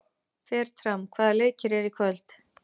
Fertram, hvaða leikir eru í kvöld?